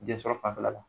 Densɔrɔ fanfɛla la